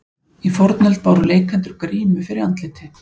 í fornöld báru leikendur grímu fyrir andliti